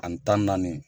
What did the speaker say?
Ani tan naani